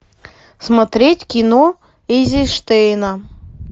смотреть кино эйзенштейна